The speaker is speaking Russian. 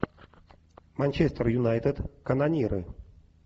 манчестер юнайтед канониры